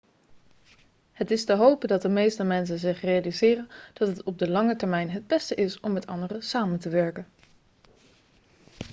het is te hopen dat de meeste mensen zich realiseren dat het op de lange termijn het beste is om met anderen samen te werken